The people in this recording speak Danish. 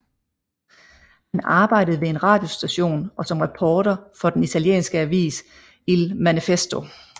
Han arbejdede ved en radiostation og som reporter for den italienske avis Il Manifesto